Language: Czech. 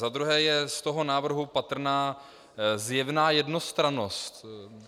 Za druhé je z toho návrhu patrná zjevná jednostrannost.